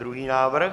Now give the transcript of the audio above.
Druhý návrh?